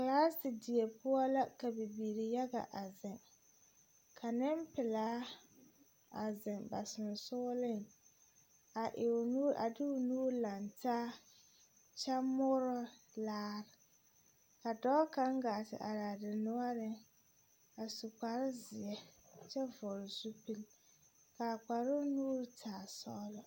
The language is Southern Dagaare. kelaasedie poɔ la ka bilbileyaga are ka nepelaa a zeŋ ba sesoreŋ a de o nuuri lantaa kyɛ moorɔ laare ka dɔɔ kaŋ gaa te are a denoɔre a su kparoŋ zeɛ kyɛ fɔgle zupiluŋ kaa kparoŋ nuuri taa sɔgele